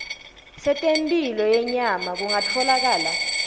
setemphilo yenyama kungatfolakala